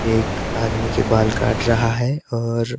एक आदमी के बाल काट रहा है और--